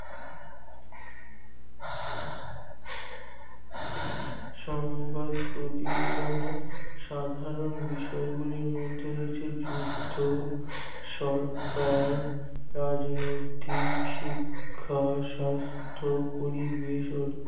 সংবাদ প্রতিবেদনের সাধারণ বিষয় গুলির মধ্যে রয়েছে যুদ্ধ সরকার রাজনৈতিক শিক্ষা সাস্থ পরিবেশ